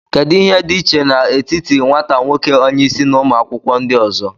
Kedu ihe dị iche n'etiti nwata nwoke onye isi na ụmụ akwụkwọ ndị ọzọ